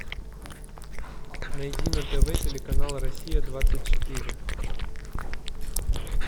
найди на тв телеканал россия двадцать четыре